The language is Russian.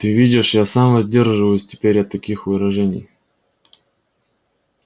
ты видишь я сам воздерживаюсь теперь от таких выражений